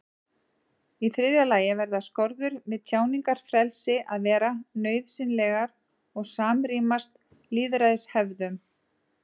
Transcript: Í þriðja lagi verða skorður við tjáningarfrelsi að vera nauðsynlegar og samrýmast lýðræðishefðum.